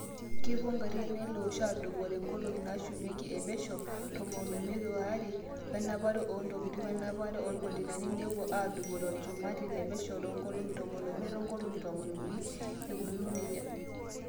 kepuo igarin ele osho aadupore ngolongi naashumiaki e pesho tomon oimiet oree enapare oo ntokitin wenapare oolkontainani nepuo aadupore olchumati le pesho too ngolongi tomon omiet o ngolongi tomon unii ikununo nejia.